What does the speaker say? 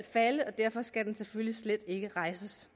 falde og derfor skal den selvfølgelig slet ikke rejses